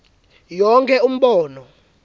yonkhe umbono